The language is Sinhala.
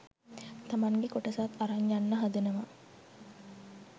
තමන්ගෙ කොටසත් අරන් යන්න හදනව.